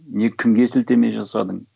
не кімге сілтеме жасадың